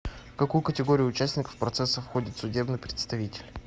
в какую категорию участников процесса входит судебный представитель